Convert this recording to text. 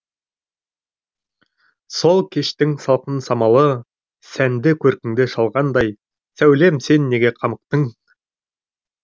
сол кештің салқын самалы сәнді көркіңді шалғандай сәулем сен неге қамықтың